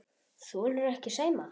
Þolirðu ekki Sæma?